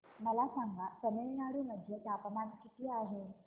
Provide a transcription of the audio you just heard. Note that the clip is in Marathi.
मला सांगा तमिळनाडू मध्ये तापमान किती आहे